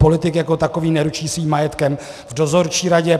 Politik jako takový neručí svým majetkem v dozorčí radě.